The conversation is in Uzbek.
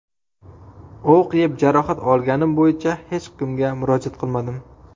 O‘q yeb, jarohat olganim bo‘yicha hech kimga murojaat qilmadim.